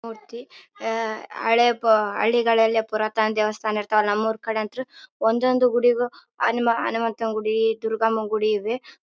ಮೂರ್ತಿ ಅ ಹಳೇ ಹಳ್ಳಿಗಳಲ್ಲಿ ಪುರಾತನ ದೇವಸ್ಥಾನ ಇರ್ತಾವ ನಮ್ಮ್ ಊರ್ ಕಡೆಯಂತು ಒಂದೆ ಒಂದು ಹನುಮಂತನ ಗುಡಿ ದುರ್ಗಮ್ಮನ್ ಗುಡಿ ಇದೆ.